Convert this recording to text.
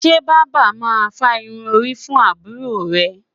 Ṣé bàbá máa fá irun orí fún àbúrò rẹ̀